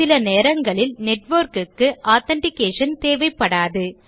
சில நேரங்களில் network க்கு ஆதென்டிகேஷன் தேவைப்படாது